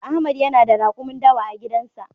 Ahmad yana da rakumi dawa a gidan sa.